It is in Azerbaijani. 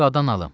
Qadan alım.